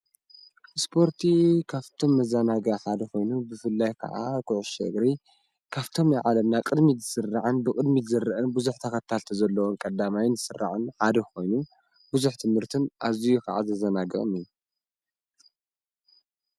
ስፖርቲ ካብቶም መዘናጋዒ ሓደ ኾይኑ ብፍላይ ከኣ ኩዕሶ እግሪ ካብቶም ናይ ዓለምና ቅድሚት ዝስራዕን ብቕድሚት ዝረአን ብዙሕ ተኸታተልቲ ዘለዎን ቀዳማይን ዝስራዕን ሓደ ኮይኑ ብዙ ትምህርትን ኣዝዩ ከኣ ዘዘናግዕን እዩ።